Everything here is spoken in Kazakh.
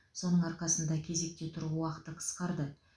соның арқасында кезекте тұру уақыты қысқарды